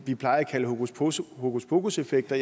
vi plejer at kalde hokuspokuseffekter